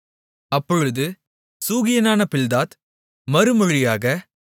அப்பொழுது சூகியனான பில்தாத் மறுமொழியாக